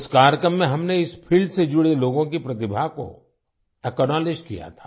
उस कार्यक्रम में हमने इस फील्ड से जुड़े लोगों की प्रतिभा को एक्नावलेज किया था